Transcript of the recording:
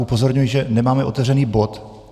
Upozorňuji, že nemáme otevřený bod.